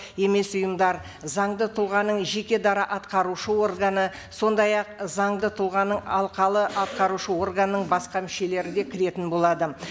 емес ұйымдар заңды тұлғаның жеке дара атқарушы органы сондай ақ заңды тұлғаның алқалы атқарушы органның басқа мүшелері де кіретін болады